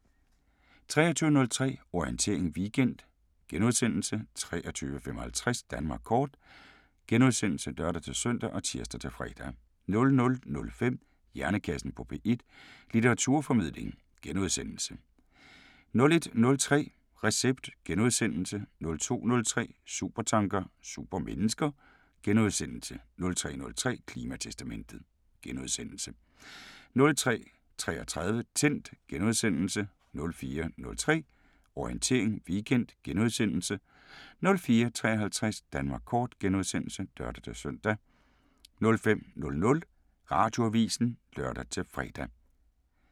23:03: Orientering Weekend * 23:55: Danmark Kort *(lør-søn og tir-fre) 00:05: Hjernekassen på P1: Litteraturformidling * 01:03: Recept * 02:03: Supertanker: Supermennesker * 03:03: Klimatestamentet * 03:33: Tændt * 04:03: Orientering Weekend * 04:53: Danmark Kort *(lør-søn) 05:00: Radioavisen (lør-fre)